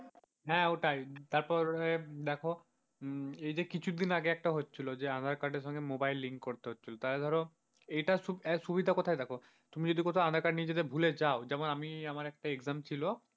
হ্যাঁ ওটাই, তারপর দেখো এই যে কিছুদিন আগে একটা হচ্ছিল যে aadhaar card এর সঙ্গে mobile link করতে হচ্ছিল তায়ে ধরো এটার সুবিধা কোথায় দেখো, তুমি যদি কোথাও aadhaar card নিয়ে যেতে ভুলে যাও যেমন আমি আমার একটা exam ছিল।